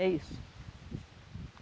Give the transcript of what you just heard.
É isso.